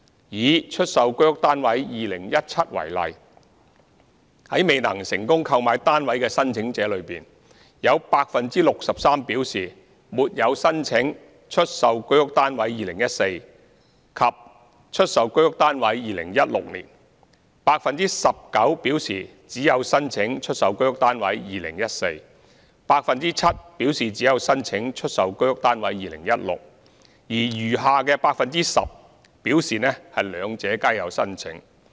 以"出售居屋單位 2017" 為例，在未能成功購買單位的申請者中，有 63% 表示沒有申請"出售居屋單位 2014" 和"出售居屋單位 2016"；19% 表示只曾申請"出售居屋單位 2014"；7% 表示只曾申請"出售居屋單位 2016"； 而餘下 10% 則表示兩者皆有申請。